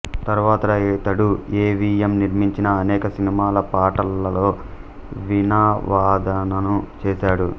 తరువాత ఇతడు A V M నిర్మించిన అనేక సినిమాల పాటలలో వీణావాదనను చేశాడు